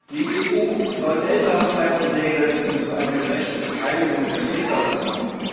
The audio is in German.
Die EU soll Elternzeiten regeln und für eine gerechte Beteiligung der Väter sorgen.